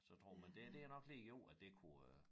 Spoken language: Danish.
Så tror man det er det er nok lige jo at det kunne øh